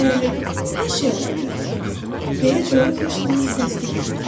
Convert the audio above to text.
Bəli, hər şey ola bilər, deyə coğrafiyaşünas təsdiq etdi.